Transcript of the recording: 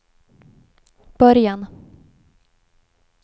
början